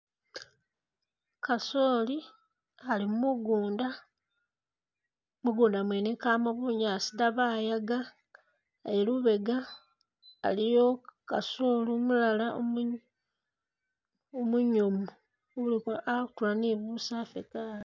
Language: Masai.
Kasooli ali mugunda, mugunda mwene kamo bunyaasi da bayaga, eyi lubega iliyo kasooli umulala umu umuyumbu uliko atula ne busaafu kaale.